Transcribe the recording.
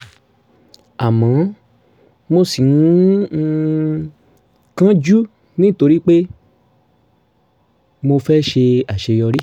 àmọ́ mo ṣì ń um kánjú nítorí pé mo fẹ́ ṣe àṣeyọrí